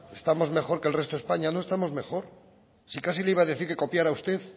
estamos mejor que el resto de españa no estamos mejor si casi le iba a decir que copiara usted